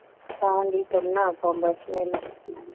பாண்டி சென்னா வந்தாச்சு வெளில